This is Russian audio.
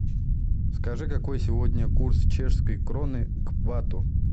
скажи какой сегодня курс чешской кроны к бату